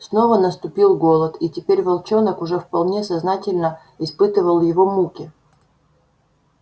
снова наступил голод и теперь волчонок уже вполне сознательно испытывал его муки